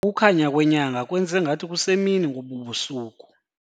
Ukukhanya kwenyanga kwenze ngathi kusemini ngobu busuku.